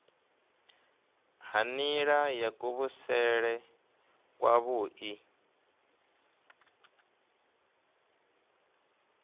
ha nila ya kuvhusele kwavhui